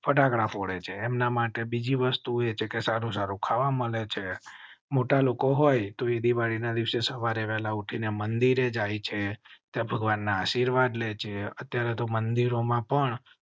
ફટાકડા ફોડે છે. એમ ના માટે બીજી વસ્તુ એ છે કે સારું સારું ખાવા મળે છે. મોટા લોકો હોય તો એ દિવાળી ના દિવસે સવારે વહેલા ઉઠી ને મંદિર જાય છે. ભગવાન ના આશીર્વાદ લે છે. અત્યારે તો મંદિર ઓમાં પણ